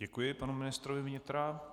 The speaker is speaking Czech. Děkuji panu ministrovi vnitra.